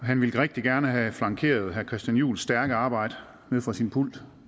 han ville rigtig gerne have flankeret herre christian juhls stærke arbejde nede fra sin pult